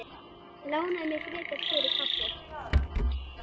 Lánaðu mér frekar fyrir kaffi.